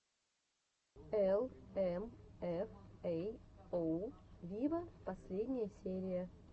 эл эм эф эй оу виво последняя серия